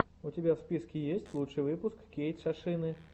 у тебя в списке есть лучший выпуск кейтшошины